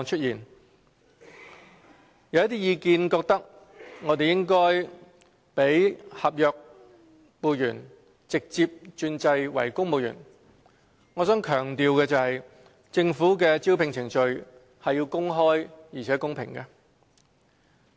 有一些意見認為，政府應該讓合約僱員直接轉制為公務員。我想強調的是，政府的招聘程序是要公開而且公平的。